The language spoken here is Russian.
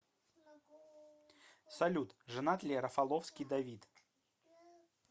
салют женат ли рафаловский давид